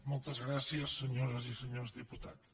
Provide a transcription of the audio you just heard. moltes gràcies senyores i senyors diputats